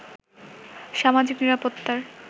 সামাজিক নিরাপত্তার